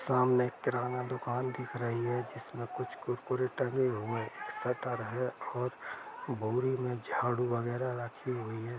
सामने एक किराना दूकान दिख रही है जिसमें कुछ कुरकुरे टंगे हुए शटर है और बौरी में जाडू वगेरा रखे हुए है।